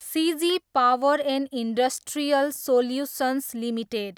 CG power and industrial solutions limited